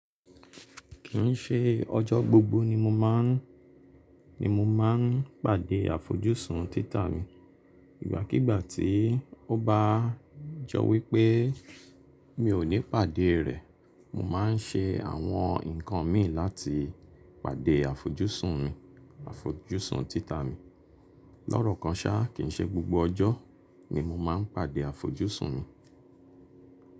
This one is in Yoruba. Kì i ṣe ọjọ́ gbogbo ni mo máa ń, ni mo máa ń pàdé àfojúsùn títà mi. Ìgbà kigbà tí ó bá jọ wí pé mi ò ní pàdé rẹ̀, mo máa ń ṣe àwọn nǹkan mi láti pàdé àfojúsùn mi, àfojúsùn títà mi. Lọ́rọ̀ kan ṣá, kì ń ṣe gbogbo ọjọ́ ni mo máa ń pàdé àfojúsùn mi.